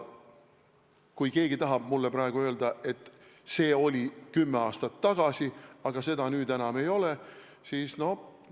Kui keegi tahab mulle praegu öelda, et see oli kümme aastat tagasi, nüüd seda enam ei ole, siis sellega ma ei ole nõus.